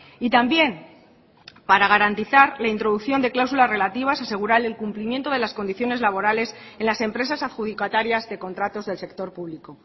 y también para garantizar la introducción de cláusulas relativas a asegurar el cumplimiento de las condiciones laborales en las empresas adjudicatarias de contratos del sector público